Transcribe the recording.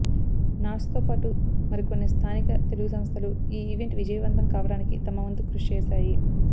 నాట్స్తో పాటు మరికొన్ని స్థానిక తెలుగు సంస్థలు ఈ ఈవెంట్ విజయవంతం కావడానికి తమ వంతు కృషి చేశాయి